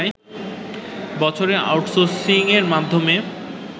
বছরে আউট সোর্সিংয়ের মাধ্যমে